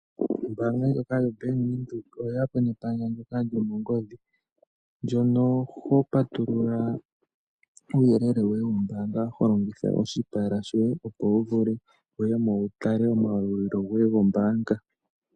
Ombanga ndjoka yo Bank Widheok oyeyapo nepandja ndoka lyomongodhi ndjono hopatulula uyelele woye wombanga holongitha oshipala shoye opo wuvule wuyemo wutale omalulo goye gombanga.